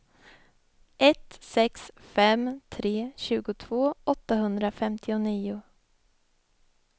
ett sex fem tre tjugotvå åttahundrafemtionio